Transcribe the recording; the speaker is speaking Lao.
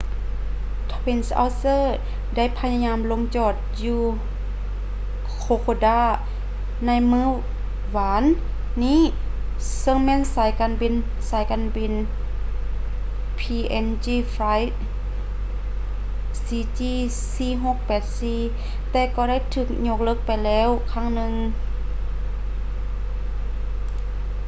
twin otter ໄດ້ພະຍາຍາມລົງຈອດຢູ່ kokoda ໃນມື້ວານນີ້ເຊິ່ງແມ່ນສາຍການບິນສາຍການບິນ png flight cg4684 ແຕ່ກໍໄດ້ຖືກຍົກເລີກໄປແລ້ວຄັ້ງໜຶ່ງ